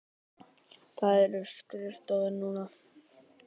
Þar eru skrifstofur núna.